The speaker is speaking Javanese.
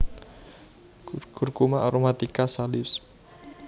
Curcuma aromatica Salisb